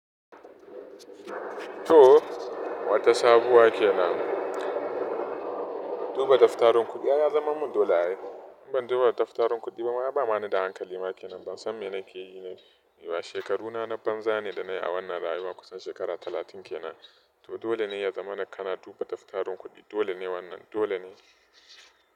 To, wata sabuwa ke nan. Duba daftarin kuɗi ya zaman mun dole ai. Ban duba daftarin kuɗi ba, ai ba mani da hankali ma kenan. Ban san me na ke yi ne. Shekaru na na banza ne da na yi a wannan rayuwa kusan shekara talatin kenan. To dole ne ya zamana kana duba daftarin kuɗi. Dole ne wannan dole ne.